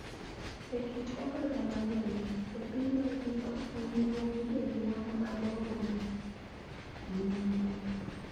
E kit oganda mang�eny e piny mangima, winjruok gi jonyuol madongo, nyimine,